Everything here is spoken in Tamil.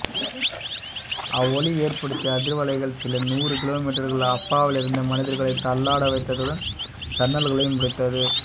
அவ்வொலி ஏற்படுத்திய அதிர்வலைகள் சில நூறு கிலோமீட்டர்கள் அப்பாலிருந்த மனிதர்களைத் தள்ளாட வைத்ததுடன் ஜன்னல்களையும் உடைத்தது